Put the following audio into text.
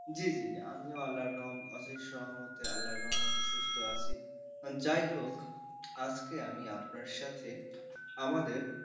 জি জি জি আমিও আল্লাহর অশেষ রহমতে আল্লাহর রহমতে সুস্থ আছি, যাই হোক আজকে আমি আপনার সাথে আমাদের,